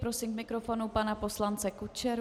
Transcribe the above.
Prosím k mikrofonu pana poslance Kučeru.